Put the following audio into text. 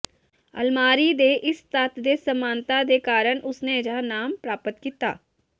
ਅਲਮਾਰੀ ਦੇ ਇਸ ਤੱਤ ਦੇ ਸਮਾਨਤਾ ਦੇ ਕਾਰਨ ਉਸ ਨੇ ਅਜਿਹਾ ਨਾਮ ਪ੍ਰਾਪਤ ਕੀਤਾ